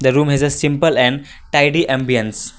the room is a simple and tidy ambience.